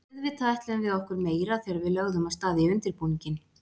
Auðvitað ætluðum við okkur meira þegar við lögðum af stað í undirbúninginn.